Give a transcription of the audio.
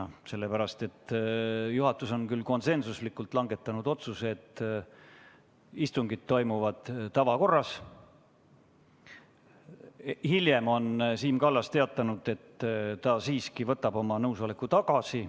See on nii sellepärast, et juhatus on küll konsensuslikult langetanud otsuse, et istungid toimuvad tavakorras, aga hiljem on Siim Kallas teatanud, et ta siiski võtab oma nõusoleku tagasi.